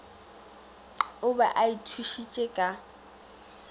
o be a ithušitše ka